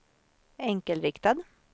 enkelriktad